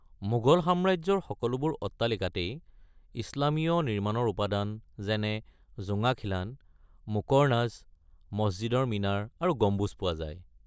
মোগল সাম্ৰাজ্যৰ সকলোবোৰ অট্টালিকাতেই ইছলামীয় নিমাৰ্ণৰ উপাদান যেনে, জোঙা খিলান, মুকৰ্নাছ, মছজিদৰ মিনাৰ আৰু গম্বুজ পোৱা যায়।